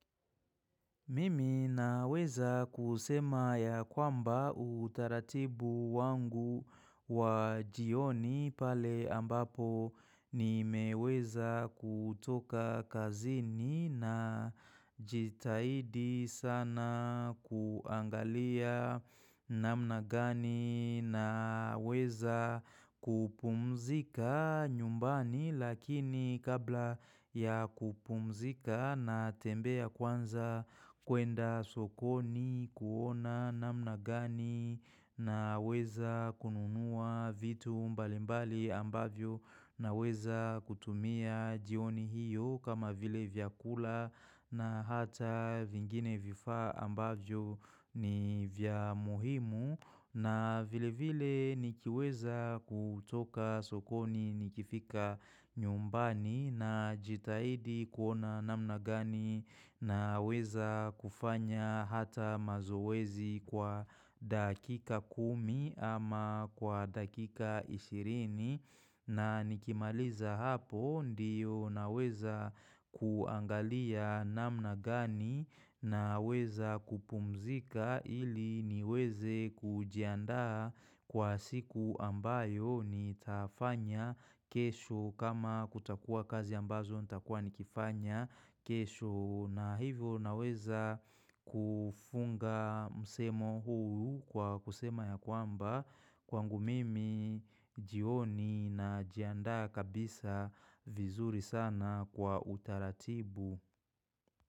Mimi naweza kusema ya kwamba utaratibu wangu wa jioni pale ambapo nimeweza kutoka kazini najitahidi sana kuangalia namna gani naweza kupumzika nyumbani lakini kabla ya kupumzika na tembea kwanza kuenda sokoni kuona namna gani naweza kununua vitu mbalimbali ambavyo naweza kutumia jioni hiyo kama vile vyakula na hata vingine vifaa ambavyo ni vya muhimu na vile vile nikiweza kutoka sokoni nikifika nyumbani na jitahidi kuona namna gani naweza kufanya hata mazoezi kwa dakika kumi ama kwa dakika ishirini. Na nikimaliza hapo ndiyo naweza kuangalia namna gani naweza kupumzika ili niweze kujiandaa kwa siku ambayo ni tafanya kesho kama kutakua kazi ambazo nitakua nikifanya kesho. Na hivyo naweza kufunga msemo huu kwa kusema ya kwamba kwangu mimi jioni na jiandaa kabisa vizuri sana kwa utaratibu.